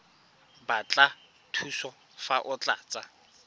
batla thuso fa o tlatsa